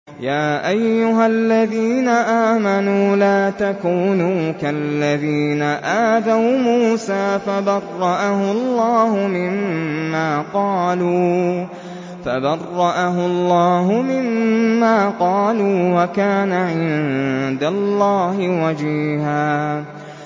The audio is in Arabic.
يَا أَيُّهَا الَّذِينَ آمَنُوا لَا تَكُونُوا كَالَّذِينَ آذَوْا مُوسَىٰ فَبَرَّأَهُ اللَّهُ مِمَّا قَالُوا ۚ وَكَانَ عِندَ اللَّهِ وَجِيهًا